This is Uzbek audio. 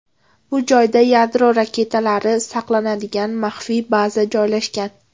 Bu joy yadro raketalari saqlanadigan maxfiy baza joylashgan.